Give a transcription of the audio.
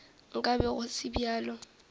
nka be go se bjalo